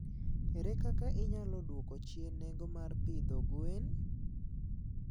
Ere kaka inyalo dwoko chien nengo mar pidho gwen?